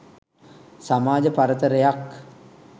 සමාජ පරතරයක්